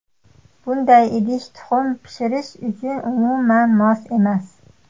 Bunday idish tuxum pishirish uchun umuman mos emas.